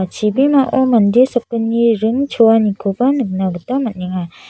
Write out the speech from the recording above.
chibimao mande sakgni ring choanikoba nikna man·enga.